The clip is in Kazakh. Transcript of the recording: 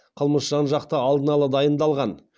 қылмыс жан жақты алдын ала дайындалған